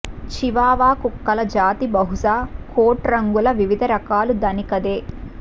Chihuahua కుక్కల జాతి బహుశా కోట్ రంగుల వివిధ రకాల ధనికదే